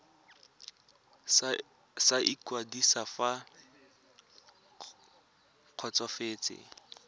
sa ikwadiso fa le kgotsofetse